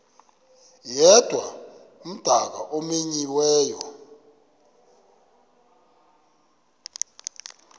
yedwa umdaka omenyiweyo